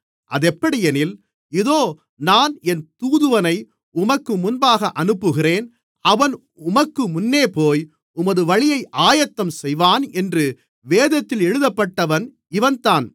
அதெப்படியெனில் இதோ நான் என் தூதுவனை உமக்கு முன்பாக அனுப்புகிறேன் அவன் உமக்குமுன்னேபோய் உமது வழியை ஆயத்தம் செய்வான் என்று வேதத்தில் எழுதப்பட்டவன் இவன்தான்